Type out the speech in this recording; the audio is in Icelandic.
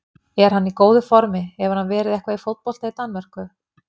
Er hann í góðu formi, hefur hann verið eitthvað í fótbolta í Danmörku?